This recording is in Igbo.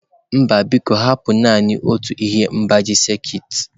Mba biko hapụ naanị otu ihe mgbaji sekit.